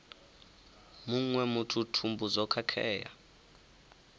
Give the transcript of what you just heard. muṅwe muthu thumbu zwo khakhea